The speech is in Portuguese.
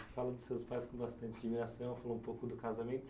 Você fala dos seus pais com bastante admiração, fala um pouco do casamento.